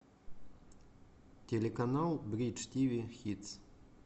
телеканал бридж тиви хитс